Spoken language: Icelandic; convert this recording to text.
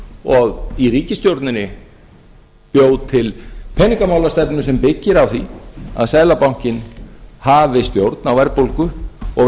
og í ríkisstjórninni bjó til peningamálastefnu sem byggir á því að seðlabankinn hafi stjórn á verðbólgu og